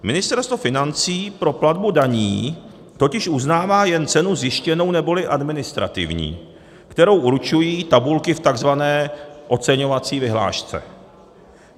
Ministerstvo financí pro platbu daní totiž uznává jen cenu zjištěnou neboli administrativní, kterou určují tabulky v tzv. oceňovací vyhlášce.